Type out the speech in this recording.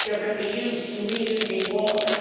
There can be use in reusing water.